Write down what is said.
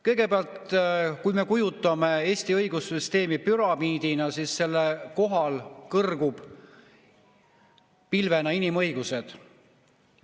Kõigepealt, kui me kujutame Eesti õigussüsteemi ette püramiidina, siis selle kohal kõrguvad pilvena inimõigused.